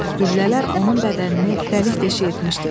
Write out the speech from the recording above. Güllələr onun bədənini dəlik deşik etmişdi.